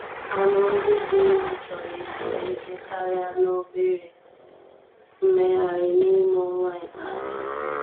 Anụ ndị dị ime chọrọ ezumike karịa na obere mmegharị n'ime ọnwa ikpeazụ.